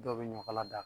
Dɔw bɛ ɲɔ kala da